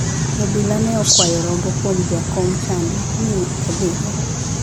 Obila ne okawo rombo kwuom jakom chadi mi odhigo.